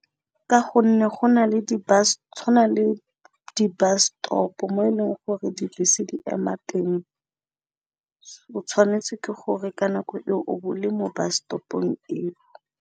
Ka gonne tshwana le di bus stop mo e leng gore di bese di ema teng oause], o tshwanetse ke gore ka nako e o bole mo bus stop-ong eo.